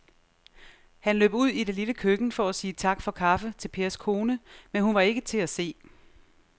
Han løb ud i det lille køkken for at sige tak for kaffe til Pers kone, men hun var ikke til at se.